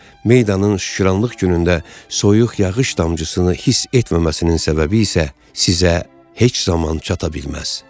Meydanın şükranlıq günündə soyuq yağış damcısını hiss etməməsinin səbəbi isə sizə heç zaman çata bilməz.